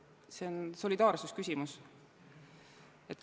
See on solidaarsuse küsimus.